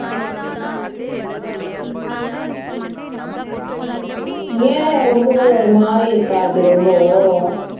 ஏன் ரொம்ப ஒரு மாதிரி இருக்கா அது ரொம்போ